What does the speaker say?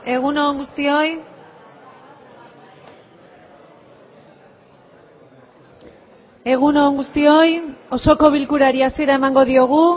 egun on guztioi egun on guztioi osoko bilkurari hasiera emango diogu